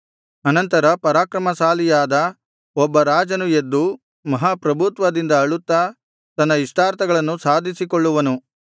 ಅನಂತರ ಪರಾಕ್ರಮಶಾಲಿಯಾದ ಒಬ್ಬ ರಾಜನು ಎದ್ದು ಮಹಾ ಪ್ರಭುತ್ವದಿಂದ ಆಳುತ್ತಾ ತನ್ನ ಇಷ್ಟಾರ್ಥಗಳನ್ನು ಸಾಧಿಸಿಕೊಳ್ಳುವನು